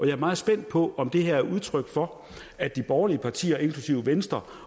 er meget spændt på om det her er udtryk for at de borgerlige partier inklusive venstre